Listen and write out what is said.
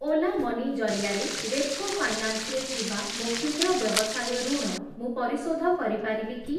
Ola Money ଜରିଆରେ Repco Finance ରେ ଥିବା ମୋ କ୍ଷୁଦ୍ର ବ୍ୟବସାୟ ଋଣ ମୁଁ ପରିଶୋଧ କରିପାରିବି କି?